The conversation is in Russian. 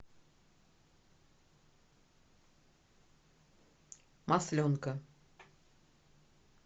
масленка